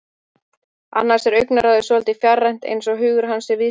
Annars er augnaráðið svolítið fjarrænt, eins og hugur hans sé víðsfjarri.